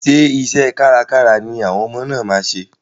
Ṣé iṣẹ́ kárkára ni àwọn ọmọ náà máa ṣe?